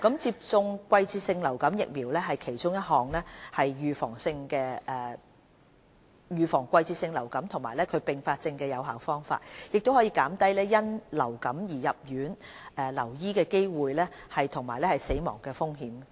接種季節性流感疫苗是其中一種預防季節性流感及其併發症的有效方法，也可減低因流感而入院留醫的機會和死亡的風險。